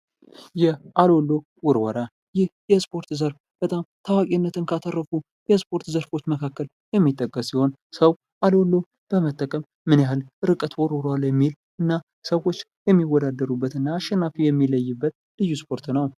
ይህ የአለሎ ውርወራ ይህ የስፖርት ዘርፍ በጣም ታዋቂነትን ካተረፉ የስፖርት ዘርፎች መካከል የሚጠቀስ ሲሆን ፤ ሰው አሎሎ በመጠቀም ምን ያህል ርቀት ውርውሯል የሚል እና ሰዎች የሚወዳደሩበትና አሸናፊው የሚለይበት ልዩ ስፖርት ነው።